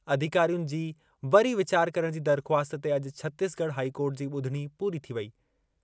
अधिकारियुनि जी वरी विचार करण जी दरख़्वास्त ते अॼु छतीसगढ़ हाई कोर्ट जी ॿुधणी पूरी थी वेई।